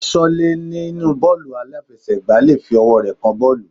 Aṣọ́lẹ́ nínú bọ́ọ̀lù aláfiẹsẹ̀ gbá le fi ọwọ́ rẹ̀ kan bọ́ọ̀lù.